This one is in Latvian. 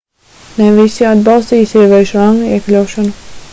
ne visi atbalstīja sieviešu ranga iekļaušanu